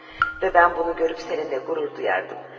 Və mən bunu görüb səninlə qürur duyardım.